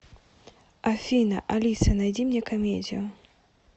афина алиса найди мне комедию